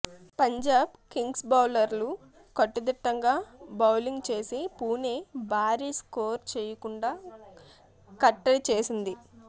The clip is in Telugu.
పంజాబ్ కింగ్స్బౌలర్లు కట్టుదిట్టంగా బౌలింగ్ చేసి పుణె భారీ స్కోరు చేయకుండా కట్టడిచేసింది